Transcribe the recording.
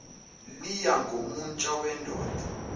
liya ngomutsha wendoda